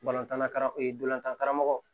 Balontanna kara e ye dolantan karamɔgɔ